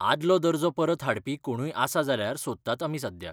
आदलो दर्जो परत हाडपी कोणूय आसा जाल्यार सोदतात आमी सध्या.